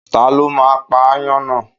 Ta ló máa pa ááyán náà?